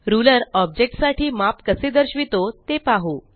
ruler object साठी माप कसे दर्शवितो ते पाहू